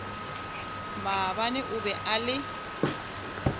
maabane o be a le